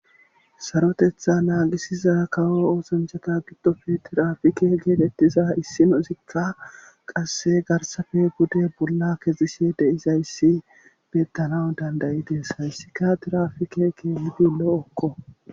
sarotetha naagisiza kawo oosanchata giddofe tiraafike geetettiza issinozikka qasse garsafe bude bolla kezishe deizayssi bettana dandayi des hayssika tirafikeke hudi lo7okko